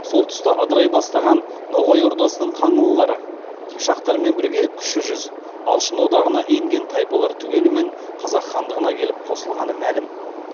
сол тұста ыдырай бастаған ноғай ордасынан қаңлылар қыпшақтармен бірге кіші жүз алшын одағына енген тайпалар түгелімен қазақ хандығына келіп қосылғаны мәлім